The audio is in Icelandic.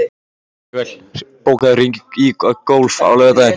Manuel, bókaðu hring í golf á laugardaginn.